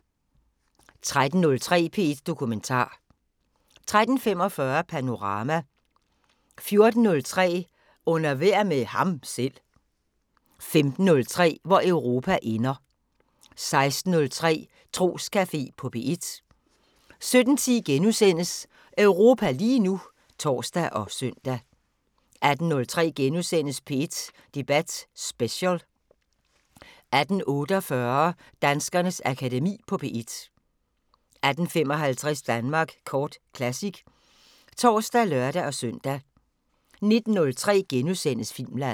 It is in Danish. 13:03: P1 Dokumentar 13:45: Panorama 14:03: Under vejr med ham selv 15:03: Hvor Europa ender 16:03: Troscafé på P1 17:10: Europa lige nu *(tor og søn) 18:03: P1 Debat Special * 18:48: Danskernes Akademi på P1 18:55: Danmark Kort Classic (tor og lør-søn) 19:03: Filmland *